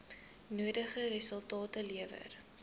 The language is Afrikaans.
nodige resultate lewer